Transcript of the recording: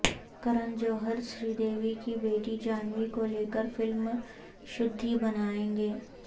کرن جوہر سری دیوی کی بیٹی جھانوی کو لے کر فلم شدھی بنائیں گے